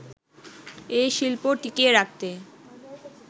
এ শিল্প টিকিয়ে রাখতে